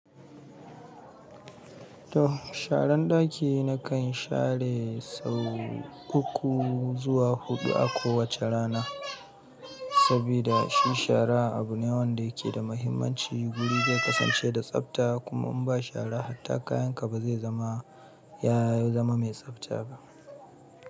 To, sharan ɗaki na kan share sau uku zuwa huɗu a kowace rana. Sabida shi shara abu ne wanda yake da mahimmanci. Guri zai kasance da tsafta kuma in ba shara hatta kayan ka ba zai zama ya zama mai tsafta ba.